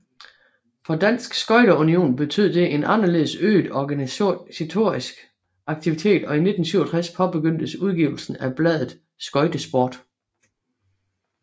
For Dansk Skøjte Union betød det en anderledes øget organisatorisk aktivitet og i 1967 påbegyndtes udgivelsen bladet Skøjtesport